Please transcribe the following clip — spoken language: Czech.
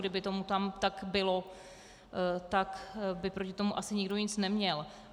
Kdyby tomu tam tak bylo, tak by proti tomu asi nikdo nic neměl.